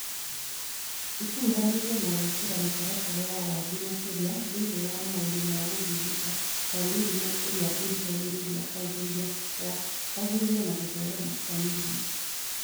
ĩkũruhanĩtio na gwĩkĩra mĩtaratara ya wathĩ makĩria thĩinĩ wa maũndũ ma gũthundũka Kwa mĩrimũ ĩrĩa irigagĩrĩria kwanjĩrĩria na gũtherema Kwa mĩrimũ